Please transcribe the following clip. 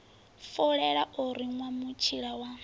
fulela o ruṅwa mutshila wa